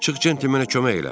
çıx centmenə kömək elə.